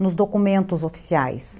nos documentos oficiais.